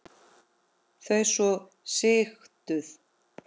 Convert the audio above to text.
Þau svo sigtuð.